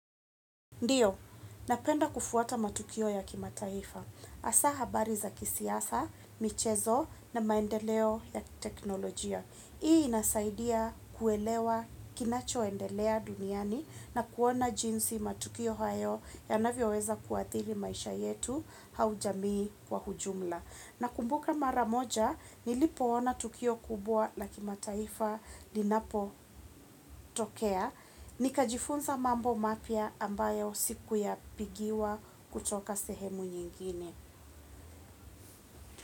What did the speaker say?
Ndiyo, napenda kufuata matukio ya kimataifa. Hasaa habari za kisiasa michezo na maendeleo ya teknolojia hii inasaidia kuelewa kinacho endelea duniani na kuona jinsi matukio hayo yanvyoweza kuadhiri maisha yetu au jamii kwa ujumla. Na kumbuka maramoja, nilipo ona tukio kubwa la kimataifa linapo tokea. Nika jifunza Mambo Mapya ambayo siku ya pigiwa kutoka sehemu nyingine.